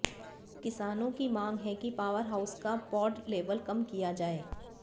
किसानों की मांग है कि पावर हाउस का पॉड लेवल कम किया जाए